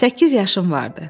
Səkkiz yaşım vardı.